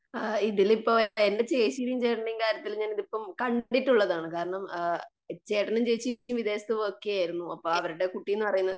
ആ ഇതിലിപ്പോ എന്റെ ചേച്ചിയുടെയും ചേട്ടന്റെയും കാര്യത്തിൽ ഞാനിപ്പോ കണ്ടിട്ടുള്ളതാണ്. കാരണം ആ ചേട്ടനും ചേച്ചിയും വിദേശത്തുമൊക്കെ ആയിരുന്നു. അപ്പം അവരുടെ കുട്ടി എന്നുപറയുന്നത് .